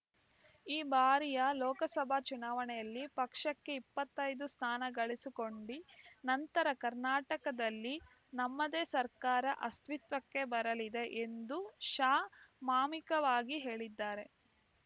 ಈ ಬಾರಿಯ ಲೋಕಸಭಾ ಚುನಾವಣೆಯಲ್ಲಿ ಪಕ್ಷಕ್ಕೆ ಇಪ್ಪತ್ತೈದು ಸ್ಥಾನ ಗೆಲ್ಲಿಸಿಕೊಂಡಿ ನಂತರ ಕರ್ನಾಟಕದಲ್ಲಿ ನಮ್ಮದೇ ಸರ್ಕಾರ ಅಸ್ತಿತ್ವಕ್ಕೆ ಬರಲಿದೆ ಎಂದು ಶಾ ಮಾರ್ಮಿಕವಾಗಿ ಹೇಳಿದ್ದಾರೆ